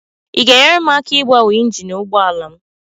Ị ga-enyere m aka ịgbanwe injin ụgbọ ala m?